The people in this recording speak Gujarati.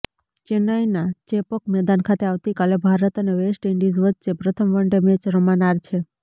ચેન્નાઇના ચેપોક મેદાન ખાતે આવતીકાલે ભારત અને વેસ્ટ ઇન્ડિઝ વચ્ચે પ્રથમ વનડે મેચ રમાનાર છે